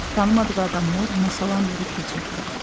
Tanımadığı adamlar ona salam verib keçirdilər.